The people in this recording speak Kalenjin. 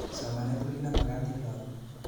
Somanet kobkit be makat eng lakok